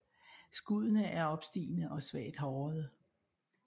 Skuddene er opstigende og svagt hårede